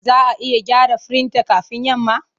Za a iya gyara firinta kafin yamma?